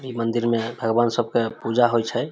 इ मंदिर मे भगवान सब के पूजा होय छै ।